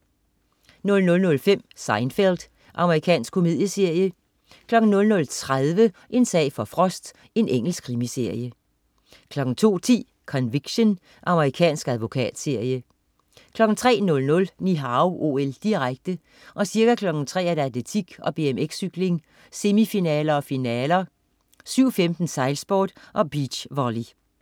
00.05 Seinfeld. Amerikansk komedieserie 00.30 En sag for Frost. Engelsk krimiserie 02.10 Conviction. Amerikansk advokatserie 03.00 Ni Hao OL, direkte. Ca. kl. 3.00: Atletik og BMX-cykling, semifinaler og finaler. 7.15: Sejlsport og beachvolley